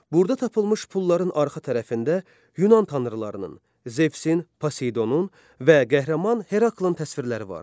Burada tapılmış pulların arxa tərəfində Yunan tanrılarının, Zevsin, Poseydonun və qəhrəman Heraklın təsvirləri vardır.